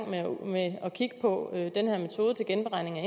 med at kigge på den her metode til genberegning af